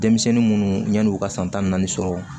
Denmisɛnnin munnu yan'u ka san tan naani sɔrɔ